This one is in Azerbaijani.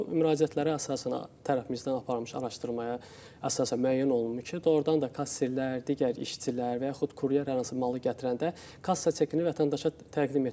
Və bu müraciətlərə əsasən tərəfimizdən aparılmış araşdırmaya əsasən müəyyən olunur ki, doğurdan da kassirlər, digər işçilər və yaxud kuryer hər hansı malı gətirəndə kassa çekini vətəndaşa təqdim etmir.